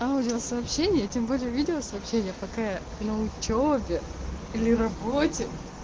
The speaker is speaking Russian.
аудиосообщение тем более видеосообщения пока на учёбе или работе